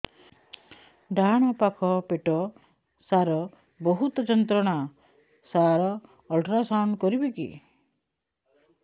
ଡାହାଣ ପାଖ ପେଟ ସାର ବହୁତ ଯନ୍ତ୍ରଣା ସାର ଅଲଟ୍ରାସାଉଣ୍ଡ କରିବି କି